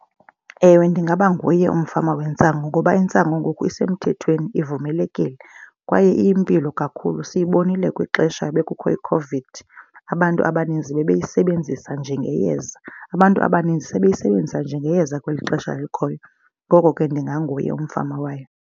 Ewe, ndingaba nguye umfama wentsangu ngoba intsangu ngoku isemthethweni ivumelekile kwaye iyimpilo kakhulu. Siyibonile kwixesha bekukho iCOVID abantu abaninzi bebeyisebenzisa njengeyeza. Abantu abaninzi sebeyisebenzisa njengeyeza kweli xesha likhoyo. Ngoko ke ndinganguye umfama wayo.